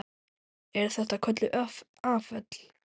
Eru þetta kölluð afföll.